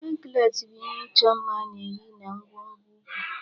Anklet bụ ihe ịchọ mma a na-eyi na nkwonkwo ụkwụ.